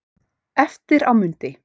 Eftir á mundi